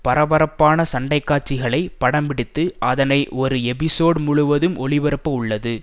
பரபரப்பான சண்டைக்காட்சிகளை படம்பிடித்து அதனை ஒரு எபிசோட் முழுவதும் ஒளிபரப்ப உள்ளது